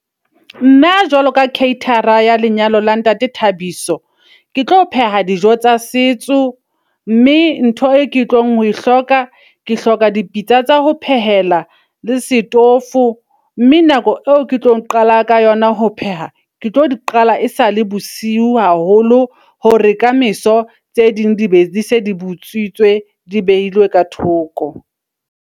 Nna jwalo ka caterer-a ya lenyalo la ntate Thabiso. Ke tlo pheha dijo tsa setso mme ntho e ke tlong ho e hloka, ke hloka dipitsa tsa ho phehela le setofo. Mme nako eo ke tlo qala ka yona ho pheha, ke tlo di qala e sale bosiu haholo hore ka meso tse ding di be di se di botsitswe. Di behilwe ka thoko.